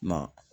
Na